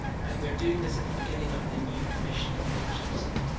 And we are doing this at the beginning of the new Commission, as the Commissioner said.